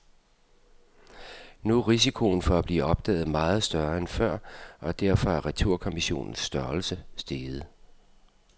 Nu er risikoen for at blive opdaget meget større end før, og derfor er returkommissionens størrelse steget.